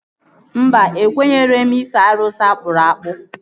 Mba, ekwenyeghị m n'ife arụsị akpụrụ akpụ